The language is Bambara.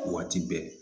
Waati bɛɛ